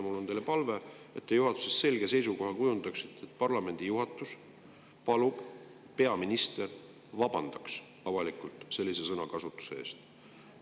Mul on teile palve, et te kujundaksite juhatuses selge seisukoha ja paluksite peaministrit, et ta avalikult vabandaks sellise sõnakasutuse pärast.